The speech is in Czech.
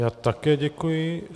Já také děkuji.